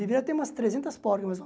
Deveria ter umas trezentas porcas, mais ou